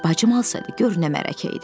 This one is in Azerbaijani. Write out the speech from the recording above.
Bacım alsaydı, gör nə bəhanəçiydi.